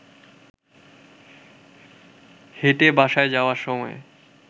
হেঁটে বাসায় যাওয়ার সময়